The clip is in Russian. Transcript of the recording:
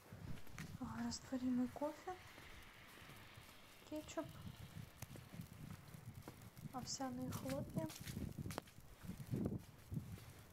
растворимый кофе кетчуп овсяные хлопья